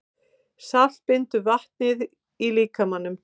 Salt bindur vatnið í líkamanum.